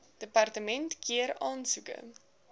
departement keur aansoeke